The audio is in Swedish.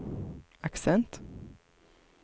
accent